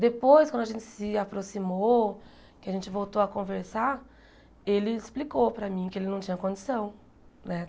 Depois, quando a gente se aproximou, que a gente voltou a conversar, ele explicou para mim que ele não tinha condição né.